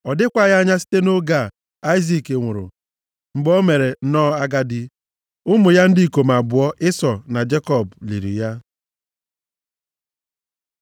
Ọ dịkwaghị anya site nʼoge a, Aịzik nwụrụ, mgbe o mere nnọọ agadi. Ụmụ ya ndị ikom abụọ, Ịsọ na Jekọb, liri ya.